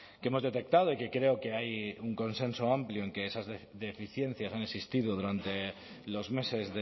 que hemos detectado y que creo que hay un consenso amplio en que esas deficiencias han existido durante los meses